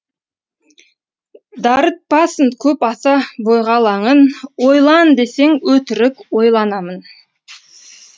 дарытпасын көп аса бойға алаңын ойлан десең өтірік ойланамын